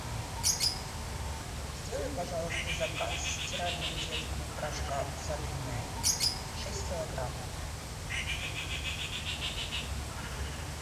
сделай пожалуйста заказ стирального детского порошка усатый нянь шесть килограмм